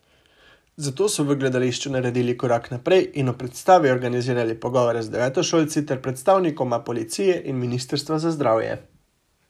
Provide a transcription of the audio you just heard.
Zato so v gledališču naredili korak naprej in ob predstavi organizirali pogovore z devetošolci ter predstavnikoma policije in ministrstva za zdravje.